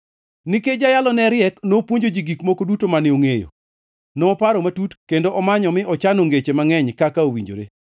Nikech jayalo ne riek, nopuonjo ji gik moko duto mane ongʼeyo. Noparo matut kendo omanyo mi ochano ngeche mangʼeny kaka owinjore.